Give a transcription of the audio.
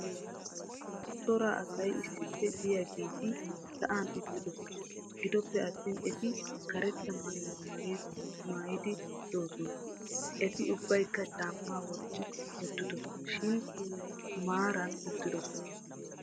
cora asay issippe diyageetii sa'an uttidosona. gidoppe attin eti karetta maayuwa maayidi doosona. eti ubaykka caamaa wotti uttidosona shin maaran uttidosona.